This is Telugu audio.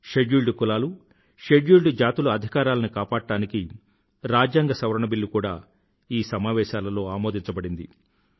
షడ్యూల్డ్ తెగల షడ్యూల్డ్ జాతుల అధికారాలను కాపాడడానికి రాజ్యాంగ సవరణ బిల్లు కూడా సమావేశాలలో ఆమోదించబడింది